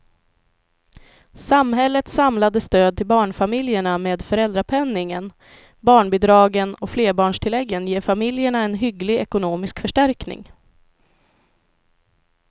Samhällets samlade stöd till barnfamiljerna med föräldrapenningen, barnbidragen och flerbarnstilläggen ger familjerna en hygglig ekonomisk förstärkning.